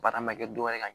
Baara ma kɛ dɔwɛrɛ ye ka ɲɛ